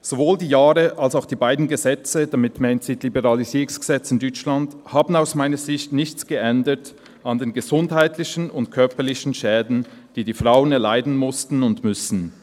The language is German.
«Sowohl die Jahre als auch die beiden Gesetze» – damit meint sie die Liberalisierungsgesetze in Deutschland – «haben aus meiner Sicht nichts geändert an den gesundheitlichen und körperlichen Schäden, die die Frauen erleiden mussten und müssen.